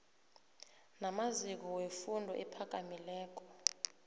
namaziko wefundo ephakamileko